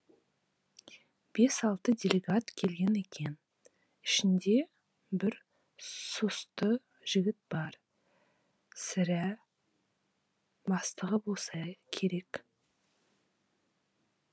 бес алты делегат келген екен ішінде бір сұсты жігіт бар сірә бастығы болса керек